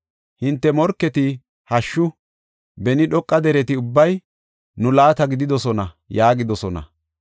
Hinte morketi, ‘Hashshu! Beni dhoqa dereti ubbay nu laata gididosona’ yaagidosona.